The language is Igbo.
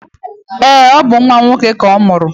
Eé, ọ bụ nnwa nwoke ka ọ mụrụ.